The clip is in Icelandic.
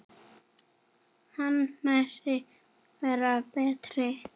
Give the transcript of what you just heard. Hún mætti vera betri.